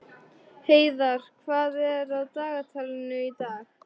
Heiðarr, hvað er á dagatalinu í dag?